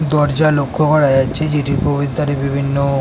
দরজা লক্ষ্য করা যাচ্ছে। যেটির প্রবেশ দ্বারে বিভিন্ন--